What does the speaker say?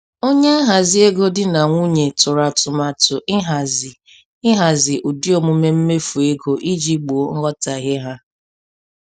Onye nhazi ego di na nwunye tụrụ atụmatụ ihazi ihazi ụdị omume mmefu ego iji gboo nghọtahie ha.